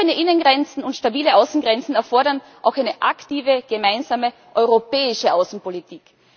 Offene Innengrenzen und stabile Außengrenzen erfordern auch eine aktive gemeinsame europäische Außenpolitik.